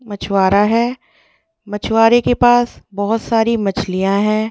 मछवारा है मछवारे के पास बहुत सारी मछलियां है ।